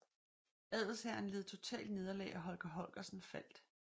Adelshæren led totalt nederlag og Holger Holgersen faldt